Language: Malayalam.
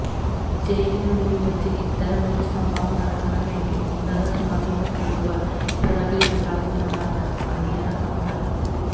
ജയിലിനുള്ളില് വച്ച് ഇത്തരം ഒരു സംഭവം നടക്കണമെങ്കില് ഉന്നത സ്വാധീനമുള്ളവര് പിറകിലുണ്ടാകുമെന്നാണ് അണിയറ സംസാരം